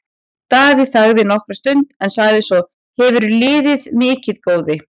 Daði þagði nokkra stund en sagði svo:-Hefurðu liðið mikið, góði?